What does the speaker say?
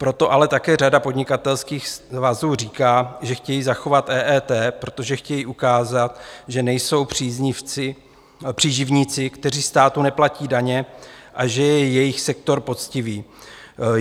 Proto ale také řada podnikatelských svazů říká, že chtějí zachovat EET, protože chtějí ukázat, že nejsou příživníci, kteří státu neplatí daně, a že je jejich sektor poctivý.